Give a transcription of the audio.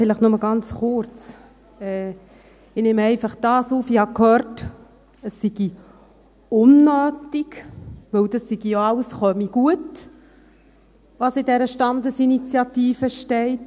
Vielleicht nur ganz kurz: Ich habe gehört, es sei unnötig, weil alles gut komme, was in der Standesinitiative steht.